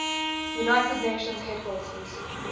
united nations headquarters